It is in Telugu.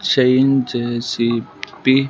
చేంజ్ చేసి బి--